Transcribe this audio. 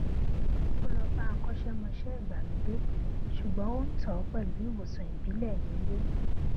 ó lọ bá akọṣẹmọṣẹ ìgbàlódé ṣùgbọn ó tọ ọ pẹlú ìwòsàn ìbílẹ nílé